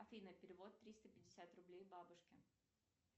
афина перевод триста пятьдесят рублей бабушке